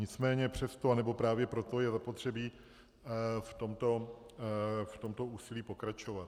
Nicméně přesto, anebo právě proto je zapotřebí v tomto úsilí pokračovat.